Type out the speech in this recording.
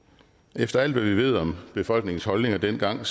efter alt hvad vi ved om befolkningens holdninger dengang